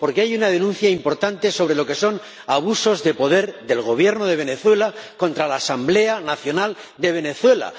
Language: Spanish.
Porque hay una denuncia importante sobre lo que son abusos de poder del Gobierno de Venezuela contra la Asamblea Nacional de Venezuela.